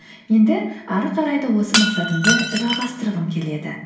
енді әрі қарай да осы мақсатымды жалғастырғым келеді